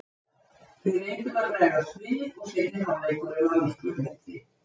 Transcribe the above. Við reyndum að bregðast við og seinni hálfleikurinn var miklu betri.